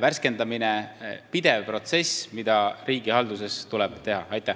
värskendamine, on pidev protsess, millega riigihalduses tuleb tegeleda.